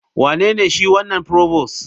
Wanene shi wanan provost?